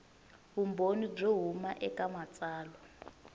vumbhoni byo huma eka matsalwa